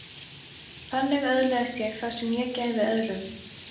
Þannig öðlaðist ég það sem ég gæfi öðrum.